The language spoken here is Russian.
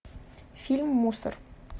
фильм мусор